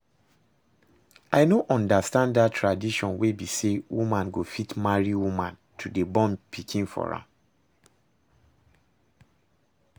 I no understand dat tradition wey be say woman go fit marry woman to dey born pikin for am